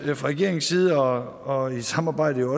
fra regeringens side og i samarbejde